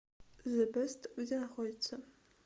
зэ бэст где находится